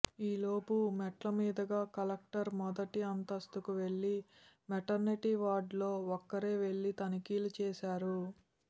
ఈలోపు మెట్లమీదుగా కలెక్టర్ మొదటి అంతస్తుకు వెళ్లి మెటర్నిటీ వార్డు లో ఒక్కరే వెళ్లి తనిఖీలు చేశారు